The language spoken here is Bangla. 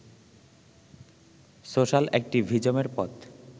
সোশ্যাল অ্যাক্টিভিজমের পথ